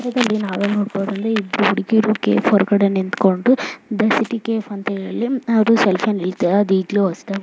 ಇಬ್ಬರು ಹುಡುಗಿಯರು ಕೆಫೆ ಮುಂದೆ ಒಂದು ಸೆಲ್ಫಿಯೇ ತಗೊಂತಿದ್ದರೆ .